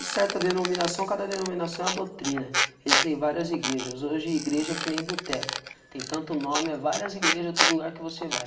certa denominação, cada denominação é uma doutrina, existem várias igrejas, hoje a igreja é que nem boteco, tem tanto nome, é várias igrejas, em todo lugar que você vai.